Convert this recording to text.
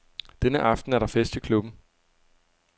Denne aften er der fest i klubben.